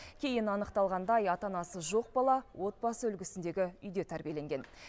кейін анықталғандай ата анасы жоқ бала отбасы үлгісіндегі үйде тәрбиеленген